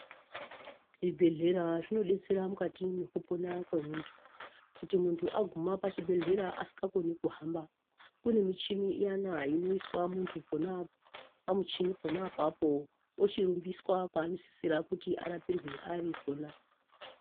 Zvibhedhlera zvinodetsera mukati mwekupona kwemunthu kuti munthu agume pachibhedhlera asingakoni kuhamba kune michini iyana inoiswa munthu pona apo pamuchini pona apapo ochirumbiswa paanosisirwa kuti arapirwe ari pona.